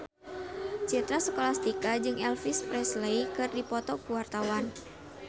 Citra Scholastika jeung Elvis Presley keur dipoto ku wartawan